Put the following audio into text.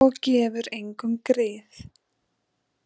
Og gefum engum grið.